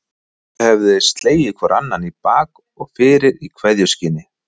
Stulli höfðu slegið hvor annan í bak og fyrir í kveðjuskyni.